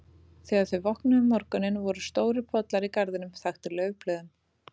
Þegar þau vöknuðu um morguninn voru stórir pollar í garðinum, þaktir laufblöðum.